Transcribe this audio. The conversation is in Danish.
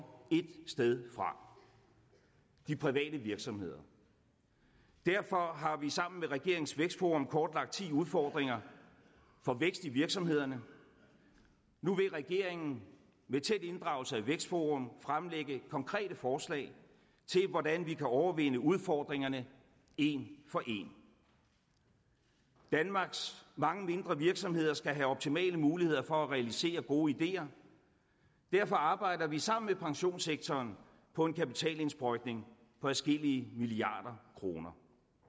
ét sted fra de private virksomheder derfor har vi sammen med regeringens vækstforum kortlagt ti udfordringer for vækst i virksomhederne nu vil regeringen med tæt inddragelse af vækstforum fremlægge konkrete forslag til hvordan vi kan overvinde udfordringerne en for en danmarks mange mindre virksomheder skal have optimale muligheder for at realisere gode ideer derfor arbejder vi sammen med pensionssektoren på en kapitalindsprøjtning på adskillige milliarder kroner